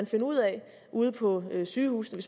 finde ud af ude på sygehusene